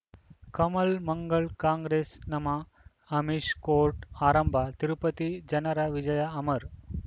ಕಮಲ್ ಮಂಗಳ್ ಕಾಂಗ್ರೆಸ್ ನಮಃ ಅಮಿಷ್ ಕೋರ್ಟ್ ಆರಂಭ ತಿರುಪತಿ ಜನರ ವಿಜಯ ಅಮರ್